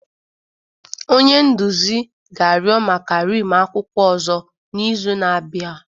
Onye nduzi ga-arịọ maka rim akwụkwọ ọzọ n'izu na-abịa